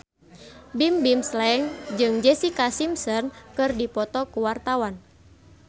Bimbim Slank jeung Jessica Simpson keur dipoto ku wartawan